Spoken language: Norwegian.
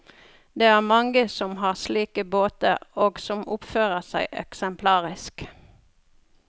Det er mange som har slike båter og som oppfører seg eksemplarisk.